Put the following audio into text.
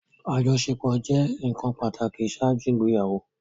Ajọṣepọ jẹ nkan pataki ṣaaju igbeyawo